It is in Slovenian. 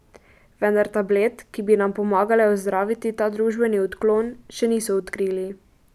Vendar tablet, ki bi nam pomagale ozdraviti ta družbeni odklon, še niso odkrili.